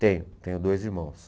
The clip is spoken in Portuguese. Tenho, tenho dois irmãos.